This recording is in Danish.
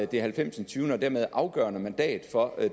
det halvfems og dermed afgørende mandat for